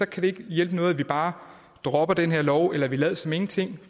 kan det ikke hjælpe noget at vi bare dropper den her lov eller vi lader som ingenting